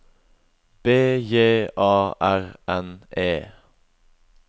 B J A R N E